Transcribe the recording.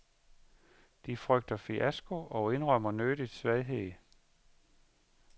De frygter fiasko og indrømmer nødigt svaghed.